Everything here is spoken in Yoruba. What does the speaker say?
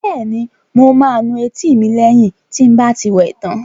Bẹ́ẹ̀ni, mo máa nu etí mi lẹ́yìn tí n bá ti wẹ tán